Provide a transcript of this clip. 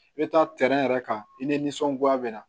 I bɛ taa tɛrɛn yɛrɛ kan i nisɔngoya bɛna